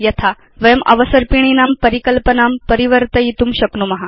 यथा वयम् अवसर्पिणीनां परिकल्पनां परिवर्तयितुं शक्नुम